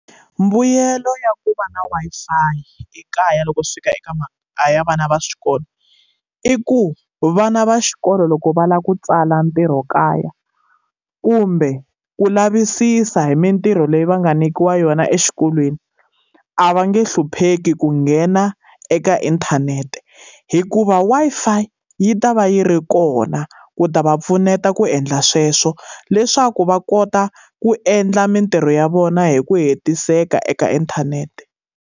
Mbuyelo ya ku va na Wi-Fi ekaya loko swi fika eka mhaka ya vana va swikolo. I ku vana va xikolo loko va lava ku tsala ntirho kaya, kumbe ku lavisisa hi mintirho leyi va nga nyikiwa yona exikolweni a va nge hlupheki ku nghena eka inthanete. Hikuva Wi-Fi yi ta va yi ri kona ku ta va pfuneta ku endla sweswo, leswaku va kota ku endla mintirho ya vona hi ku hetiseka eka inthanete.